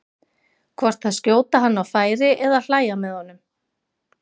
hvort að skjóta hann á færi eða hlæja með honum.